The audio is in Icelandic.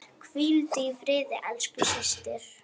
Hvíldu í friði elsku systir.